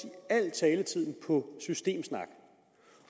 taletiden på systemsnak